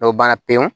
Dɔw banna pewu